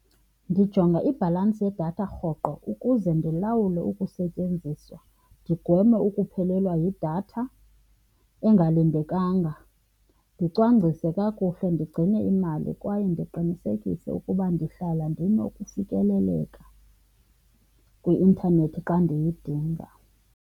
Ndijonga ibhalansi yedatha rhoqo ukuze ndilawule ukusetyenziswa, ndigweme ukuphelelwa yidatha engalindekanga, ndicwangcise kakuhle, ndigcine imali kwaye ndiqinisekise ukuba ndihlala ndinokufikeleleka kwi-intanethi xa ndiyidinga.